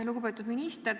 Lugupeetud minister!